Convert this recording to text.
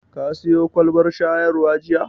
Ka siyo kwalbar shayarwa jiya?